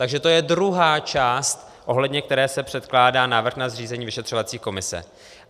Takže to je druhá část, ohledně které se předkládá návrh na zřízení vyšetřovací komise.